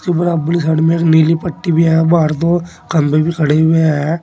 बराबर साइड में एक नीली पट्टी भी है बाहर दो खंभे भी खड़े हुए हैं।